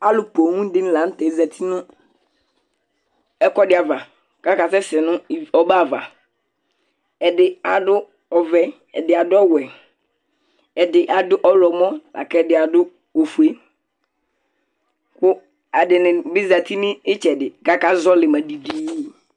Alʊ ƒoobdini kanutɛ azatɩ nɛkuɛdibava, jakasɛsɛ nɔbɛava Ɛdi adu ɔvɛ, ɛdi adu ɔwɛ, ɛdɩ adu ɔwlɔmɔ akɛdi adʊ ofue Ku ɛdinibi azatɩ nɩtsɛdi kajazɔlima didiidi